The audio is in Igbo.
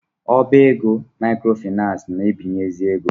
Ọbá égo maịkrofaịnans na-agbazinye ego.